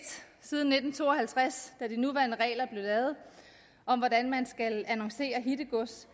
siden nitten to og halvtreds da de nuværende regler om hvordan man skal annoncere hittegods